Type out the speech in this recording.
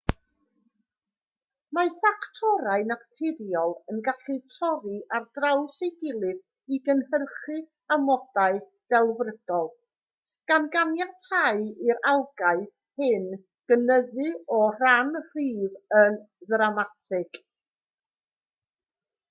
mae ffactorau naturiol yn gallu torri ar draws ei gilydd i gynhyrchu amodau delfrydol gan ganiatáu i'r algâu hyn gynyddu o ran rhif yn ddramatig